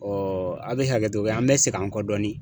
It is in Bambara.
a be hakɛto kɛ, an be segin an kɔ dɔɔni.